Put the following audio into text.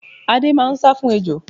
Adé máá ń sá fún ejò